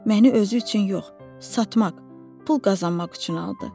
Məni özü üçün yox, satmaq, pul qazanmaq üçün aldı.